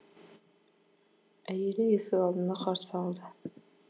әйелі есік алдында қарсы алды